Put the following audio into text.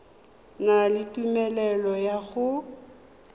na le tumelelo ya go